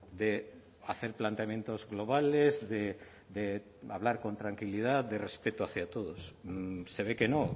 de hacer planteamientos globales de hablar con tranquilidad de respeto hacia todos se ve que no